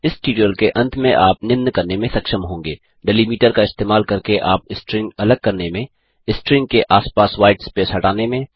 इस ट्यूटोरियल के अंत में आप निम्न करने में सक्षम होंगे डेलीमीटर का इस्तेमाल करके आप स्ट्रिंग अलग करने में स्ट्रिंग के आसपास व्हाईट स्पेस हटाने में